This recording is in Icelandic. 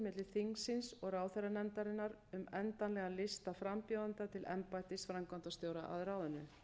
milli þingsins og ráðherranefndarinnar um endanlegan lista frambjóðenda til embættis framkvæmdastjóra að ráðinu